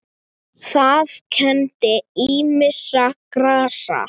Það kenndi ýmissa grasa